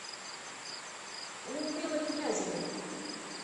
людмилы князевой